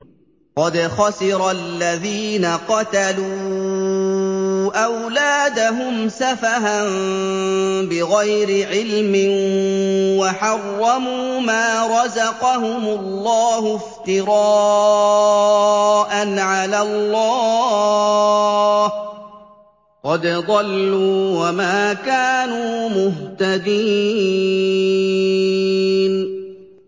قَدْ خَسِرَ الَّذِينَ قَتَلُوا أَوْلَادَهُمْ سَفَهًا بِغَيْرِ عِلْمٍ وَحَرَّمُوا مَا رَزَقَهُمُ اللَّهُ افْتِرَاءً عَلَى اللَّهِ ۚ قَدْ ضَلُّوا وَمَا كَانُوا مُهْتَدِينَ